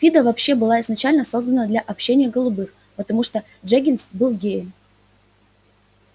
фидо вообще была изначально создана для общения голубых потому что дженнингс был геем